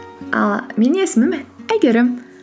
ал менің есімім әйгерім